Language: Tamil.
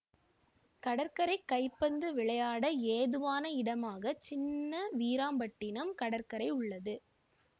கடற்கரை கைபந்து விளையாட ஏதுவான இடமாக சின்ன வீராம்பட்டினம் கடற்கரை உள்ளது